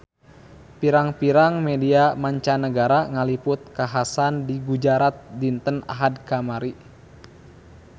Pirang-pirang media mancanagara ngaliput kakhasan di Gujarat dinten Ahad kamari